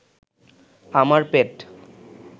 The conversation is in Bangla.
আমার পেট